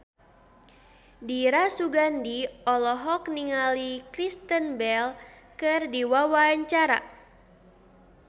Dira Sugandi olohok ningali Kristen Bell keur diwawancara